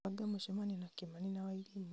banga mũcemanio na kĩmani na wairimũ